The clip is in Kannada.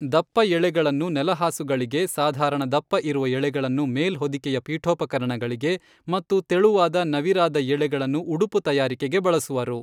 ದಪ್ಪ ಎಳೆಗಳನ್ನು ನೆಲಹಾಸುಗಳಿಗೆ ಸಾಧಾರಣ ದಪ್ಪ ಇರುವ ಎಳೆಗಳನ್ನು ಮೇಲ್ ಹೊದಿಕೆಯ ಪೀಠೋಪಕರಣಗಳಿಗೆ ಮತ್ತು ತೆಳುವಾದ ನವಿರಾದ ಎಳೆಗಳನ್ನು ಉಡುಪು ತಯಾರಿಕೆಗೆ ಬಳಸುವರು.